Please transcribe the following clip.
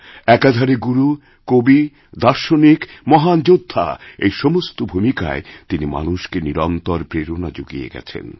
একাধারে গুরু কবি দার্শনিক মহান যোদ্ধা এই সমস্ত ভূমিকায় তিনিমানুষকে নিরন্তর প্রেরণা জুগিয়ে গেছেন